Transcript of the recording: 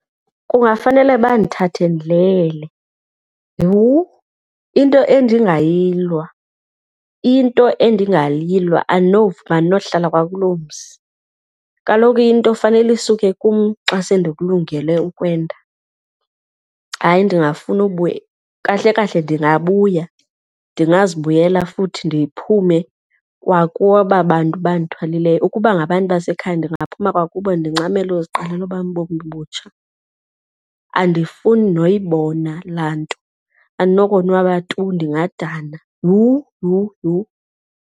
Kungafanele bandithathe ndilele. Yhu, into endingayilwa, into endingayilwa! Andinovuma, andinokuhlala kwakuloo mzi. Kaloku into fanele isuke kum xa se ndikulungele ukwenda. Hayi, ndingafuna ubuya. Kahle kahle ndingabuya, ndingazibuyela futhi ndiphume kwakubo aba bantu bandithwalileyo. Ukuba ngabantu basekhaya ndingaphuma kwakubo ndincamele uziqalela obam ubomi obutsha. Andifuni noyibona laa nto, andinokonwaba tu ndingadana. Yhu! Yhu! Yhu!